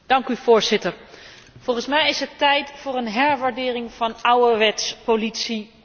Volgens mij is het tijd voor een herwaardering van ouderwets politie opsporingswerk.